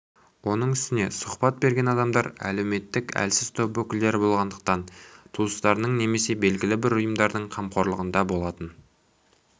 оның үстіне сұхбат берген адамдар әлеуметтік әлсіз топ өкілдері болғандықтан туыстарының немесе белгілі бір ұйымдардың қамқорлығында болатын